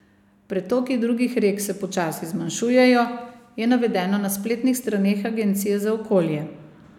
Pretoki drugih rek se počasi zmanjšujejo, je navedeno na spletnih straneh agencije za okolje.